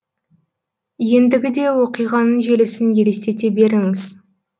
ендігі де оқиғаның желісін елестете беріңіз